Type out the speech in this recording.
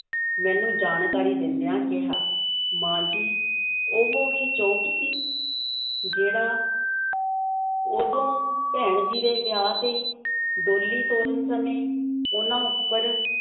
ਮੈਨੂੰ ਜਾਣਕਾਰੀ ਦਿੰਦਿਆਂ ਕਿਹਾ, ਮਾਂ ਜੀ, ਉਹ ਵੀ ਚੋਪ ਸੀ ਜਿਹੜਾ ਉਦੋਂ ਭੈਣ ਜੀ ਦੇ ਵਿਆਹ 'ਤੇ ਡੋਲੀ ਤੋਰਨ ਸਮੇਂ ਉਹਨਾਂ ਉੱਪਰ